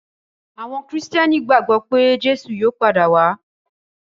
Àwọn Kìrìtẹ́ẹ́nì gbagbọ pé Jésù yóò padà wá.